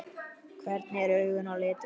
Hvernig eru augun á litinn?